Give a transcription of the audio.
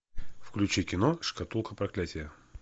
включи кино шкатулка проклятия